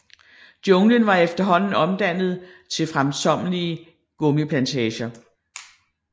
Junglen var efterhånden omdannet til fremkommelige gummiplantager